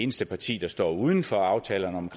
eneste parti der står uden for aftalerne om